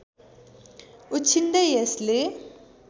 उछिन्दै यसले